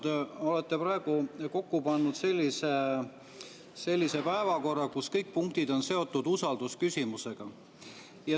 Te olete kokku pannud sellise päevakorra, kus kõik punktid on seotud usaldusküsimusega.